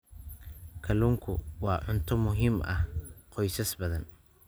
Kalluunku waa cunto muhiim u ah qoysas badan.